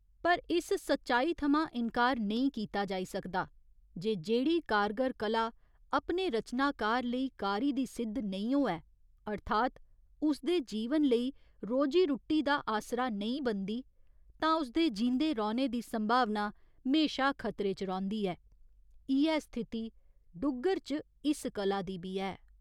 पर इस सच्चाई थमां इनकार नेईं कीता जाई सकदा जे जेह्ड़ी कारगर कला अपने रचनाकार लेई कारी दी सिद्ध नेईं होऐ अर्थात उसदे जीवन लेई रोजी रुट्टी दा आसरा नेईं बनदी तां उसदे जींदे रौह्‌ने दी संभावना म्हेशा खतरे च रौंह्दी ऐ, इ'यै स्थिति डुग्गर च इस कला दी बी ऐ।